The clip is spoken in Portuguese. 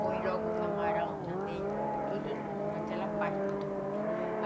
Põe logo o camarão também, tudo naquela parte do tucupi.